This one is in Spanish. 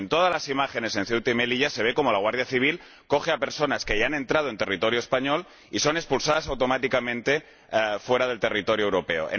En todas las imágenes en Ceuta y Melilla se ve cómo la Guardia Civil coge a personas que ya han entrado en territorio español y estas son expulsadas automáticamente fuera del territorio europeo.